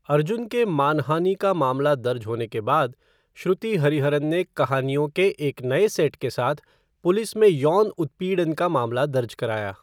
अर्जुन के मानहानि का मामला दर्ज होने के बाद, श्रुति हरिहरन ने कहानियों का एक नए सेट के साथ पुलिस में यौन उत्पीड़न का मामला दर्ज कराया।